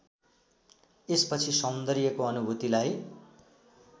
यसपछि सौन्दर्यको अनुभूतिलाई